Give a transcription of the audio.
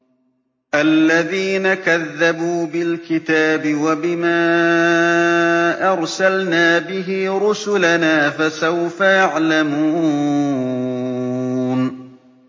الَّذِينَ كَذَّبُوا بِالْكِتَابِ وَبِمَا أَرْسَلْنَا بِهِ رُسُلَنَا ۖ فَسَوْفَ يَعْلَمُونَ